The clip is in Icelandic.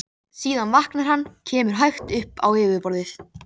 Síðan vaknar hann, kemur hægt upp á yfirborðið.